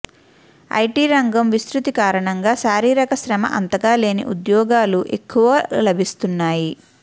IT రంగం విస్తృతి కారణంగా శారీరక శ్రమ అంతగా లేని ఉద్యోగాలు ఎక్కువగా లభిస్తున్నాయి